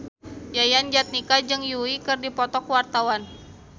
Yayan Jatnika jeung Yui keur dipoto ku wartawan